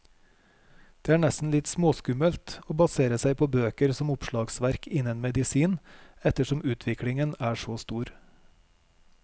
Det er nesten litt småskummelt å basere seg på bøker som oppslagsverk innen medisin, ettersom utviklingen er så stor.